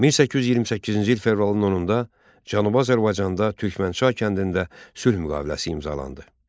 1828-ci il fevralın 10-da Cənubi Azərbaycanda Türkmənçay kəndində sülh müqaviləsi imzalandı.